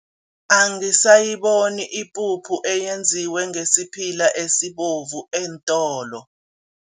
Angisayiboni ipuphu eyenziwe ngesiphila esibovu eentolo.